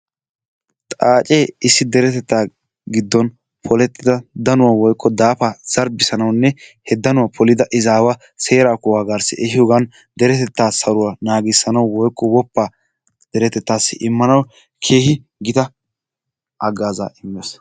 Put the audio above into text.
Xaacee issi deretettaa giddon polettida danuwa woykko daafaa zarbbissanawunne he danuwa polida izaawa seeraa kuwaa garssi ehiiyogan deretettaa saruwa naagissanawu woykko woppaa deretettaassi immanawu keehi gita haggaazaa immees.